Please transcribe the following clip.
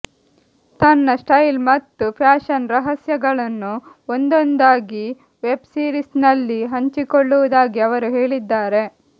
ತನ್ನ ಸ್ಟೈಲ್ ಮತ್ತು ಫ್ಯಾಷನ್ ರಹಸ್ಯಗಳನ್ನು ಒಂದೊಂದಾಗಿ ವೆಬ್ ಸೀರಿಸ್ನಲ್ಲಿ ಹಂಚಿಕೊಳ್ಳುವುದಾಗಿ ಅವರು ಹೇಳಿದ್ದಾರೆ